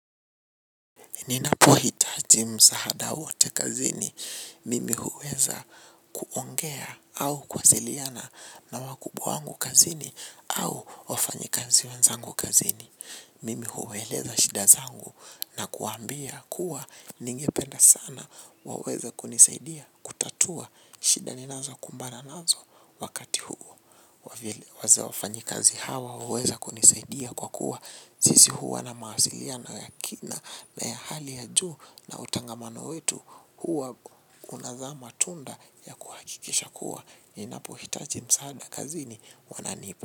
Ninapohitaji msaada wote kazini. Mimi huweza kuongea au kwasiliana na wakubwa wangu kazini au wafanyikazi wanzangu kazini. Mimi huwaeleza shida zangu na kuwaambia kuwa ningependa sana waweze kunisaidia kutatua shida ninazokumbana nazo wakati huu. Wafanyikazi hawa huweza kunisaidia kwa kuwa, sisi huwa na mawasiliano ya kina na ya hali ya juu na utangamano wetu huwa unazaa matunda ya kuhakikisha kuwa ninapohitaji msaada kazini wananipa.